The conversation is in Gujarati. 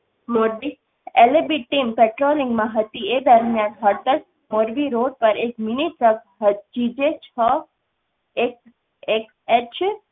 મોરબી LCB team patrolling માં હતી એ દરમિયાન મોરબી road પર એક mini truck g j છ એક એક h